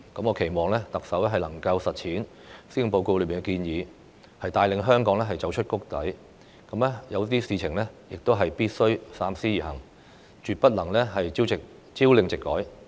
我期望特首能夠落實施政報告裏的建議，帶領香港走出谷底；對一些事情必須三思而行，絕不能朝令夕改。